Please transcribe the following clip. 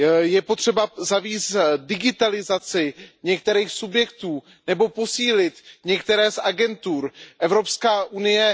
Je potřeba zavést digitalizaci některých subjektů nebo posílit některé z agentur Evropské unie.